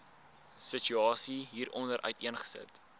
situasie hieronder uiteengesit